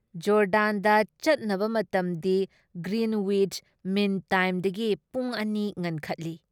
ꯖꯣꯔꯗꯥꯟꯗ ꯆꯠꯅꯕ ꯃꯇꯝꯗꯤ Greenwich mean time ꯗꯒꯤ ꯄꯨꯡ ꯲ ꯉꯟꯈꯠꯂꯤ ꯫